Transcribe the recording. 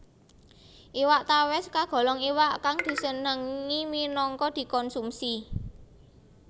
Iwak tawès kagolong iwak kang disenengi minangka dikonsumsi